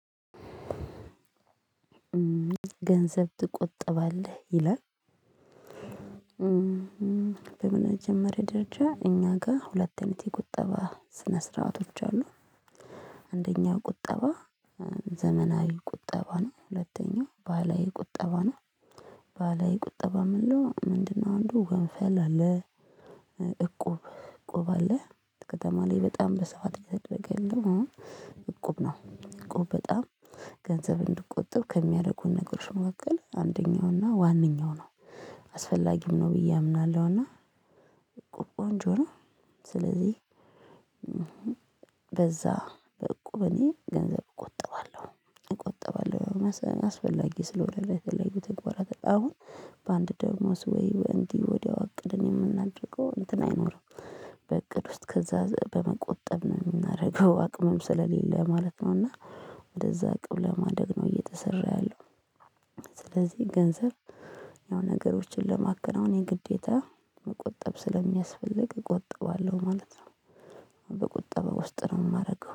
ገንዘብ ትቆጠባለህ ይላል? በመጀመሪያ ደረጃ እኛ ጋ ሁለት አይነት የቁጠባ ስነ ስርዓቶች አሉ። አንደኛው ቁጠባ ዘመናዊ ቁጠባ ነው። ሁለተኛው ባሀላዊ ቁጠባ ነው። ባሀለዊ ቁጠባ ምንለው ምንድነው? አንዱ ወንፈል አለ። እቁብ እቁብ አለ። ከተማ ላይ በጣም በሰአት እየተደረገ ያለው እቁብ ነው። እቁብ በጣም ገንዘብ እንድቆጠብ ከሚያደርጉን ነገሮች መካከል አንደኛው እና ዋነኛው ነው። አስፈላጊም ነው ብዬ አምናለሁ። እና እቁብ ቆንጆ ነው። ስለዚህ በዛ በእቁብ እኔ ገንዘብ እቆጥባለሁ እቆጥባለሁ አስፈላጊ ስለሆነ ለተለያዩ ተግባራት አሁን በአንድ ደሞዝ ወይ እንዲህ ወዲያው አቅድን የምናደርገው እንትን አይኖርም በእቅድ ውስጥ ከዛ በመቆጠብ ነው የምናደርገው። አቅምም ስለሌለ ማለት ነው። እና ወደዛ አቅም ለማደግ ነው እየተሰራ ያለው። ስለዚህ ገንዘብ ያው ነገሮችን ለማከናወን የግዴታ መቆጠብ ስለሚያስፈልግ እቆጥባለሁ ማለት ነው። በቁጠባ ውስጥ ነው የማደርገው